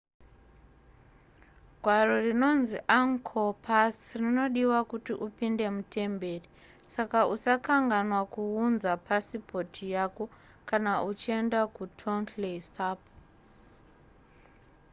gwaro rinonzi angkor pass rinodiwa kuti upinde mutemberi saka usakanganwa kuunza pasipoti yako kana uchienda kutonle sap